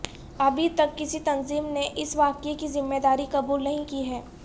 ابھی تک کسی تنظیم نے اس واقعے کی ذمہ داری قبول نہیں کی ہے